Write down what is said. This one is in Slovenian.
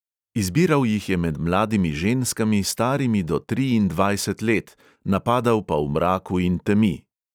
Izbiral jih je med mladimi ženskami, starimi do triindvajset let, napadal pa v mraku in temi.